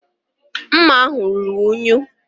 Mma ahụ ruru unyi.